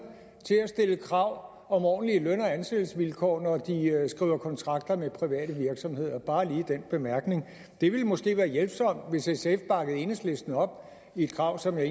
til at stille krav om ordentlige løn og ansættelsesvilkår når de skriver kontrakter med private virksomheder bare lige den bemærkning det ville måske være hjælpsomt hvis sf bakkede enhedslisten op i et krav som jeg